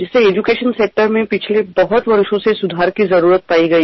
शिक्षण क्षेत्रात गेल्या अनेक वर्षांपासून सुधारणांची गरज आहे